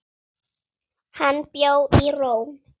Hann bjó í Róm.